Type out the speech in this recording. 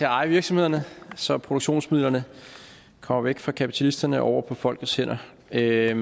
eje virksomhederne så produktionsmidlerne kommer væk fra kapitalisterne og over på folkets hænder det er